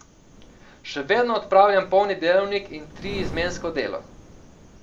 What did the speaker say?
Še vedno opravljam polni delovnik in triizmensko delo.